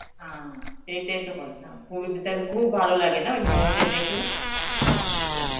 হা এইটাই তো কথা, দের খুব ভালো লাগে না ঐ Hindi দের দেখলে?